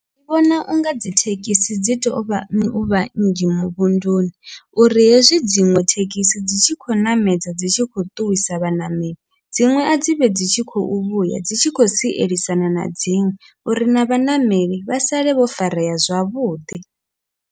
Ndi vhona unga dzithekhisi dzi tovha nnyi uvha nnzhi muvhunduni, uri hezwi dziṅwe thekhisi dzi tshi khou ṋamedza dzi tshi khou ṱuwisa vhaṋameli dziṅwe a dzivhe dzi tshi khou vhuya dzi tshi khou sielisana na dziṅwe, uri na vhaṋameli vha sale vho farea zwavhuḓi.